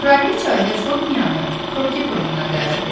Kraliça Hercoqnyanı Kroket oyununa dəvət edir.